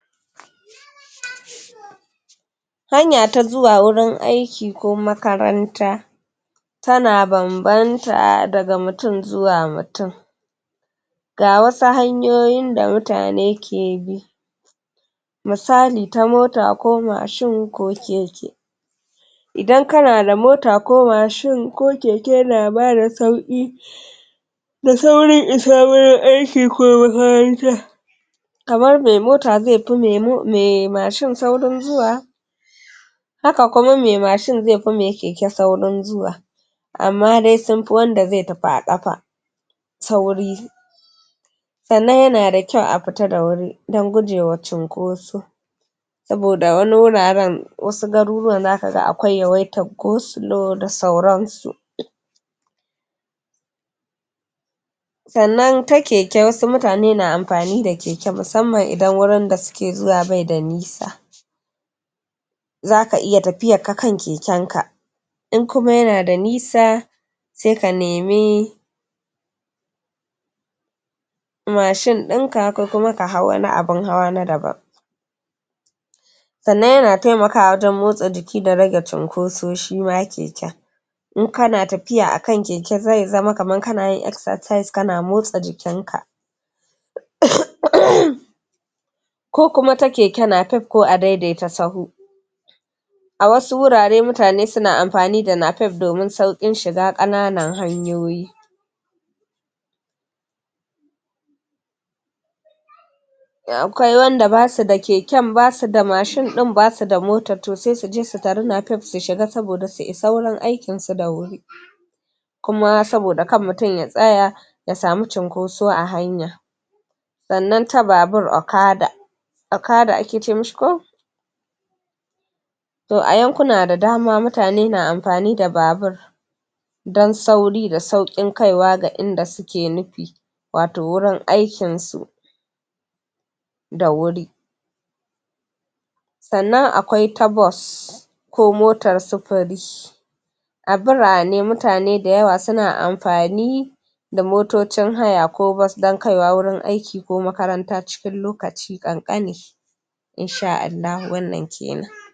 hanya ta zuwa wurin aiki ko makaranta tana banbanta daga mutum zuwa mutum ga wasu hanyoyin da mutane ke bi misali ta mota ko mashin ko keke idan kana da mota ko mashin ko keke yana ma da sauƙi da saurin isa gurin aiki ko makaranta kamar me mota ze fi me mashin saurin zuwa haka kuma me mashin ze fi me keke saurin zuwa amma dai sun fi wanda ze tafi a ƙafa sauri sannan yana da kyau a fita da wuri dan guje wa cunkoso saboda wani wuraren wasu garuruwan zaka ga akwai yawaitan go-slow da sauran su sannan ta keke wasu mutane na amfani da keke musammam idan wurin da suke zuwa be da nisa zaka iya tafiyak ka kan keken ka in kuma yana da nisa se ka nemi mashin inka ko kuma ka hau wani abun hawa na daban sannan yana temakawa wajen motsa jiki da rage cunkoso shima keken in kana tafiya akan keke ze zama kaman kana yin exercise kana motsa jikin ka ko kuma ta keke napep ko adaidaita sahu a wasu wurare mutane suna amfani da napep domin sauƙin shiga ƙananan hanyoyi akwai wanda basu da keken basu da mashin ɗin basu da motan to se suje su tari napep su shiga saboda su isa wurin aikin su da wuri kuma saboda kan mutum ya tsaya ya samu cunkoso a hanya sannan ta babur okada okada ake ce mi shi ko to a yankuna da dama mutane suna amfani da babur don sauri da sauƙin kaiwa ga inda suke nufi wato wurin aikin su da wuri sannan akwai ta bus ko motan sufuri a birane mutane da yawa suna amfani da motocin haya ko bus don kaiwa wurin aiki ko makaranta cikin lokaci ƙanƙani in sha Allahu wannan knn